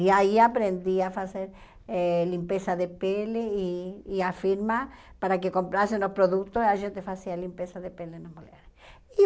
E aí aprendi a fazer eh limpeza de pele e e a firma, para que comprassem os produtos, a gente fazia limpeza de pele nas mulheres. E